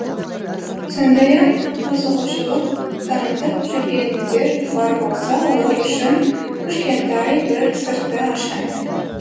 сондай ақ қызығушылық танытып жүргендер бар болса олар үшін кішкентай бір сырды ашайын